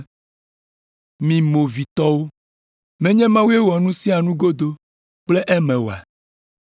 Mi movitɔwo! Menye Mawue wɔ nu sia nu godo kple eme oa?